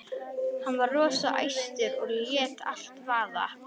Hann var rosa æstur og lét allt vaða.